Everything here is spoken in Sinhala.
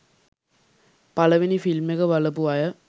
පළවෙනි ‍ෆිල්ම් එක බලපු අය